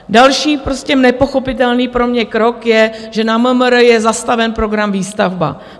Další, prostě nepochopitelný pro mě krok je, že na MMR je zastaven program Výstavba.